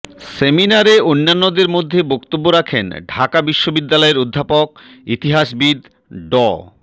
সেমিনারে অন্যান্যদের মধ্যে বক্তব্য রাখেন ঢাকা বিশ্ববিদালয়ের অধ্যাপক ইতিহাসবিদ ড